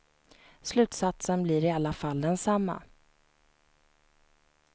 Slutsatsen blir i alla fall densamma.